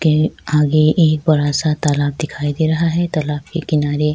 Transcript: کے اگے ایک بڑا سا تالاب دکھائی دے رہا ہے- تالاب کے کنارے--